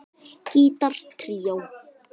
Gítar tríó